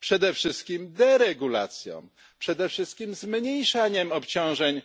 Przede wszystkim deregulacją, przede wszystkim zmniejszaniem obciążeń